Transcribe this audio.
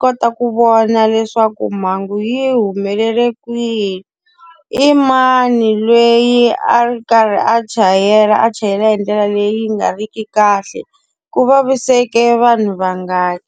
kota ku vona leswaku mhangu yi humelele kwihi, i mani loyi a ri karhi a chayela a chayela hi ndlela leyi nga ri ki kahle, ku vaviseke vanhu vangani.